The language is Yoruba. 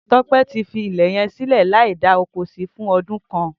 Tope ti fi ilẹ yẹn silẹ làí dà ókó si fùn ọdún kán